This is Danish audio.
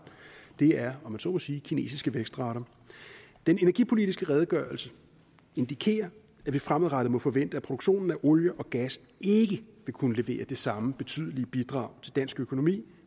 det er om jeg så må sige kinesiske vækstrater den energipolitiske redegørelse indikerer at vi fremadrettet må forvente at produktionen af olie og gas ikke vil kunne levere det samme betydelige bidrag til dansk økonomi